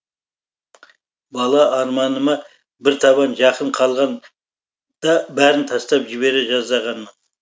бала арманыма бір табан жақын қалғанда бәрін тастап жібере жаздағанмын